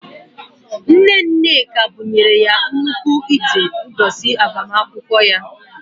Nne Nneka bụnyere ya nnukwu ite n’ụbọchị agbamakwụkwọ ya